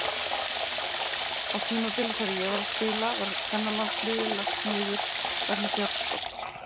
Á tímabili þegar ég var að spila var kvennalandsliðið lagt niður vegna fjárskorts.